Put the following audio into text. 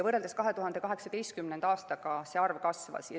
Võrreldes 2018. aastaga see arv kasvas.